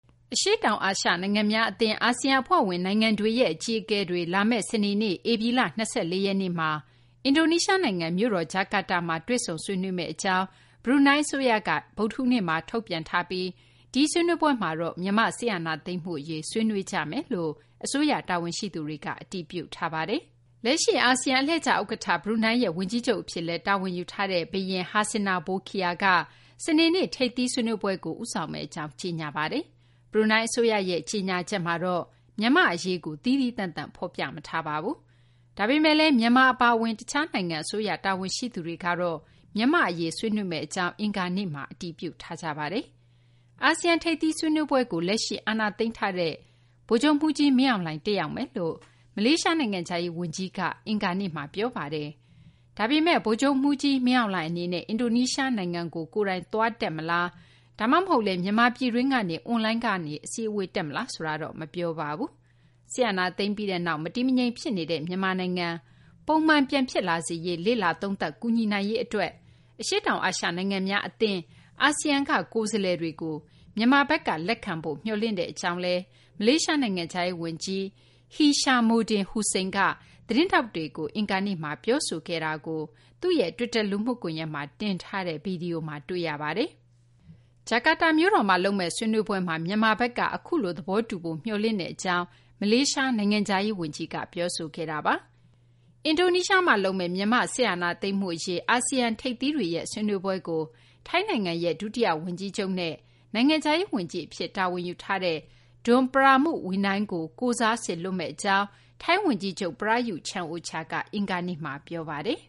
အရှေ့တောင် အာရှ နိုင်ငံများ အသင်း အာဆီယံ အဖွဲ့ဝင် နိုင်ငံတွေရဲ့ အကြီးအကဲတွေ လာမယ့် စနေနေ့ ဧပြီလ ၂၄ ရက်နေ့မှာ အင်ဒိုနီးရှား နိုင်ငံ မြို့တော် ဂျာကာတာမှာ တွေ့ဆုံဆွေးနွေးမယ့် အကြောင်း ဘရူးနိုင်း အစိုးရက ဗုဒ္ဓဟူးနေ့မှာ ထုတ်ပြန်ထားပြီး ဒီဆွေးနွေးပွဲမှာတော့ မြန်မာ့ စစ်အာဏာသိမ်းမှု အရေး ဆွေးနွေးမယ်လို့ အစိုးရ တာဝန်ရှိသူတွေက အတည်ပြုထားပါတယ်။ လက်ရှိ အာဆီယံ အလှည့်ကျ ဥက္ကဌ ဘရူးနိုင်းရဲ့ ဝန်ကြီးချုပ် အဖြစ်လည်း တာဝန်ယူထားတဲ့ ဘုရင် Hassanal Bolkiah က စနေနေ့ ထိပ်သီး စည်းဝေးပွဲကို ဦးဆောင်မယ့် အကြောင်း ကြေညာထားပါတယ်။ ဘရူးနိုင်း အစိုးရရဲ့ ကြေညာချက်မှာတော့ မြန်မာ့ အရေးကို သီးသီးသန့်သန့် ဖော်ပြမထားပါဘူး။ ဒါပေမယ့်လည်း မြန်မာ အပါအဝင် တခြား နိုင်ငံ အစိုးရ တာဝန်ရှိသူတွေက မြန်မာ့ အရေး ဆွေးနွေးမယ့် အကြောင်း အင်္ဂါနေ့မှာ တည်ပြုထားတာပါ။ အာဆီယံ ထိပ်သီး ဆွေးနွေးပွဲကို လက်ရှိ အာဏာသိမ်းထားတဲ့ ဗိုလ်ချုပ်မှူးကြီး မင်းအောင်လှိုင် တက်ရောက်မယ်လို့ မလေးရှား နိုင်ငံခြားရေး ဝန်ကြီးကလည်း အင်္ဂါနေ့မှာ ပြောပါတယ်။ ဒါပေမယ့်လည်း ဗိုလ်ချုပ်မှူးကြီး မင်းအောင်လှိုင် အနေနဲ့ အင်ဒိုနီးရှား နိုင်ငံကို ကိုယ်တိုင် သွားတက် မလား ဒါမှမဟုတ်လည်း မြန်မာပြည်တွင်းကနေ အွန်လိုင်းကနေ အစည်းအဝေး တက်မလားဆိုတာတော့ မပြောပါဘူး။ စစ်အာဏာသိမ်းပြီးနောက် မတည်မငြိမ် ဖြစ်နေတဲ့ မြန်မာနိုင်ငံ ပုံမှန် ပြန်ဖြစ်လာစေရေး လေ့လာသုံးသပ် ကူညီနိုင်ရေး အတွက် အရှေ့တောင် အာရှ နိုင်ငံများ အသင်း အာဆီယံက ကိုယ်စားလှယ်တွေကို မြန်မာဘက်က လက်ခံဖု့ိ မျှော်လင့်ကြောင်း မလေးရှား နိုင်ငံခြားရေး ဝန်ကြီး Hishammuddin Hussein က သတင်းထောက်တွေကို အင်္ဂါနေ့မှာ ပြောဆိုခဲ့တာကို သူ့ရဲ့ တွစ်တာ လူမှုကွန်ရက်မှာ တင်ထားတဲ့ ဗွီဒီယိုမှာ တွေ့ရပါတယ်။ ဂျာကာတာမြို့တော်မှာ လုပ်မယ့် ဆွေးနွေးပွဲမှာ မြန်မာဘက်က အခုလို သဘောတူဖို့ မျှော်လင့်တဲ့ အကြောင်း မလေးရှား နိုင်ငံခြားရေး ဝန်ကြီးက ပြောခဲ့တာပါ။ အင်ဒိုနီးရှားမှာ လုပ်မယ့် မြန်မာ့ စစ်အာဏာသိမ်းမှု အရေး ဆွေးနွေးပွဲကို ထိုင်းနိုင်ငံရဲ့ ဒုတိယ ဝန်ကြီးချုပ်နဲ့ နိုင်ငံခြားရေး ဝန်ကြီး Don Pramudwinai ကို ကိုယ်စားစေလွှတ်မယ့် အကြောင်း ထိုင်းဝန်ကြီးချုပ် Prayuth Chan-ocha က အင်္ဂါနေ့မှာ ပြောပါတယ်